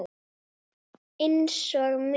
Einsog minn.